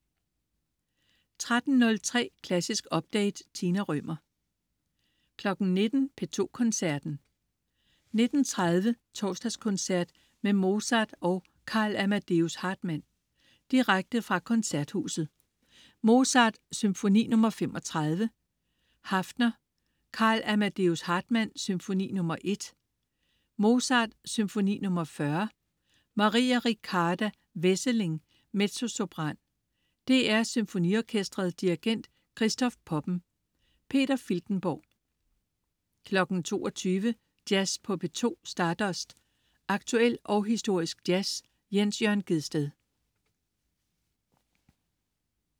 13.03 Klassisk update. Tina Rømer 19.00 P2 Koncerten. 19.30: Torsdagskoncert med Mozart og Karl Amadeus Hartmann. Direkte fra Koncerthuset. Mozart: Symfoni nr. 35, Haffner. Karl Amadeus Hartmann: Symfoni nr. 1. Mozart: Symfoni nr. 40. Maria Riccarda Wesseling, mezzosopran. DR SymfoniOrkestret. Dirigent: Christoph Poppen. Peter Filtenborg 22.00 Jazz på P2. Stardust. Aktuel og historisk jazz. Jens Jørn Gjedsted